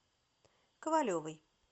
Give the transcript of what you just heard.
ковалевой